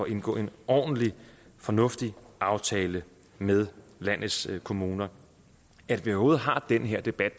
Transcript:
indgå en ordentlig fornuftig aftale med landets kommuner at vi overhovedet har den her debat